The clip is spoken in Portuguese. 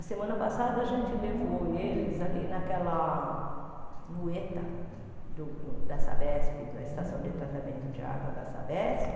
A semana passada a gente levou eles ali naquela no eta da Sabesp, da estação de tratamento de água da Sabesp,